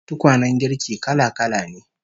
Tukwanen girki kala-kala ne